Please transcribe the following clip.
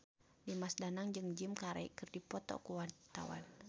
Dimas Danang jeung Jim Carey keur dipoto ku wartawan